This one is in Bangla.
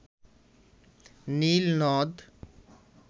নীল নদ